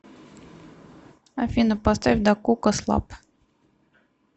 афина поставь дакока слаб